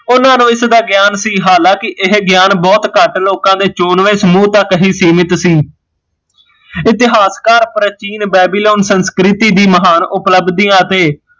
ਉਹਨਾਂ ਨੂ ਇਸ ਦਾ ਗਿਆਨ ਸੀ ਹਲਾਕਿ ਇਹ ਗਿਆਨ ਬਹੁਤ ਘੱਟ ਲੋਕਾਂ ਦੇ ਚੁਨਵੇ ਸਮੂਹ ਤੱਕ ਹੀਂ ਸੀਮਿਤ ਸੀ ਇਤਿਹਾਸਕਾਰ ਪ੍ਰਚੀਨ ਬੇਬੀਲੋਨ ਦੀ ਮਹਾਨ ਉਪਲਬਦੀਆ ਅਤੇ